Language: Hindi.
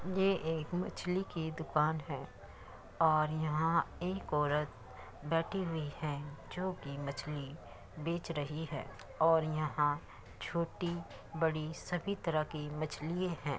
ये एक मछली की दुकान है और यहाँ एक औरत बैठी हुई है। जो कि मछली बेच रही है और यहाँ छोटी बड़ी सभी तरह की मछली है।